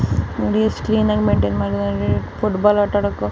ನೋಡಿ ಎಸ್ಟ್ ಕ್ಲೀನ್ ಆಗಿ ಮೈನ್ಟೈನ್ ಮಾಡಿದ್ದಾರೆ ಫುಟ್ ಬಾಲ್ ಆಟ ಆಡೋಕು